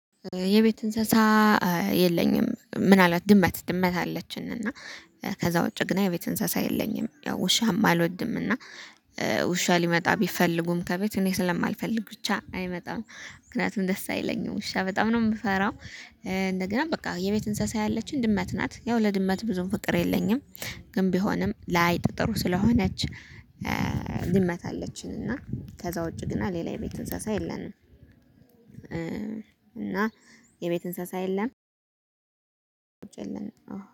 የቤት እንስሳ የለኝም። ምናልባት ድመት ድመት አለችን እና ከዛ ውጪ ግን የቤት እንስሳ የለኝም ያው ውሻም አልወድምና። ውሻ ሊመጣ ቢፈልጉም ከቤት እኔ ስለማልፈልግ ብቻ አይመጣም ምክንያቱም ደስ አይለኝም ውሻ በጣም ነው የምፈራው። እንደገና በቃ የቤት እንስሳ ያለችን ድመት ናት ያው ለድመት ብዙም ፍቅር የለኝም። ግን ቢሆንም ለአይጥ ጥሩ ስለሆነች። ድመት አለችን እና ከዛ ውጪ ግን ሌላ የቤት እንስሳ የለንም። እና የቤት እንስሳ የለም።